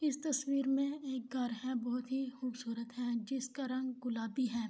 اس تصویر مے ایک گھر ہے بہت ہی قوبصورت ہے جس کا رنگ گلابی ہے